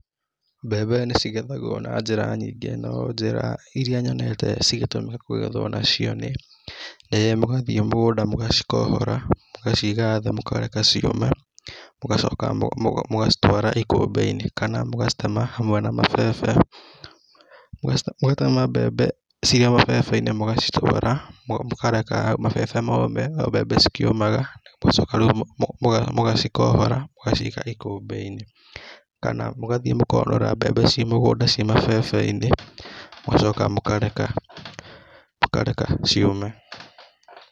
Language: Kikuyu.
Mbembe nĩ cigethagwo na njĩra nyingĩ, no, njĩra irĩa nyonete cigĩtũmĩrwo kũgethwo nacio nĩ, mũgathiĩ mũgũnda mũgacikohora, mũgaciga thĩ mũkareke ciũme, mũgacoka mũgacitwara ikũmbi-inĩ, kana mũgacitema hamwe na mabebe, mũgatema mbembe cirio mabebe-inĩ, mũgacitwara, mũkareka mabebe moome o mbembe cikĩumaga. Mũgacoka rĩu muga mũgacikohora, mũgaciiga ikũmbĩ-inĩ. Kana mũgathiĩ mũkonora mbembe ciĩ mũgũnda ciĩ mabebe-inĩ, mũgacoka mũkareka, mũkareka ciũme.